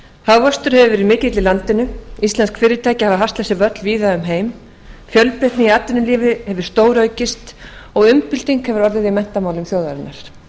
hagvöxtur hefur verið mikill í landinu íslensk fyrirtæki hafa haslað sér völl um víðan heim fjölbreytni í atvinnulífi hefur stóraukist og umbylting hefur orðið í menntamálum þjóðarinnar